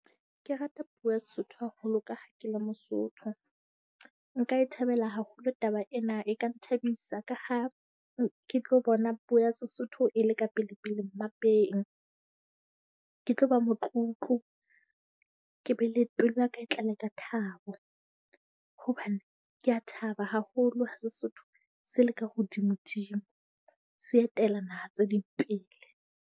Ke rata puo ya Sesotho haholo ka ha ke le Mosotho. Nka e thabela haholo taba ena, e ka nthabisa ka ha ke tlo bona puo ya Sesotho e le ka pelepele mmapeng. Ke tlo ba motlotlo ke be le pelo ya ka e tlale ka thabo. Hobane ke a thaba haholo ha Sesotho se le ka hodimodimo se etella naha tse ding pele.